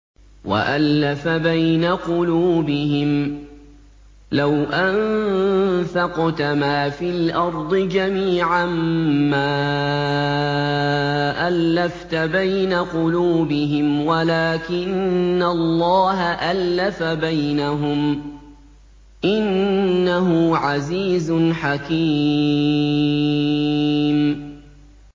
وَأَلَّفَ بَيْنَ قُلُوبِهِمْ ۚ لَوْ أَنفَقْتَ مَا فِي الْأَرْضِ جَمِيعًا مَّا أَلَّفْتَ بَيْنَ قُلُوبِهِمْ وَلَٰكِنَّ اللَّهَ أَلَّفَ بَيْنَهُمْ ۚ إِنَّهُ عَزِيزٌ حَكِيمٌ